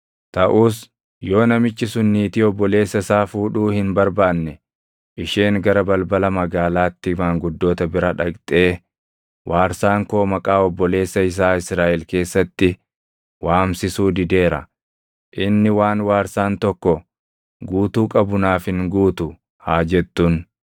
Taʼus yoo namichi sun niitii obboleessa isaa fuudhuu hin barbaanne isheen gara balbala magaalaatti maanguddoota bira dhaqxee, “Waarsaan koo maqaa obboleessa isaa Israaʼel keessatti waamsisuu dideera. Inni waan waarsaan tokko guutuu qabu naaf hin guutu” haa jettuun.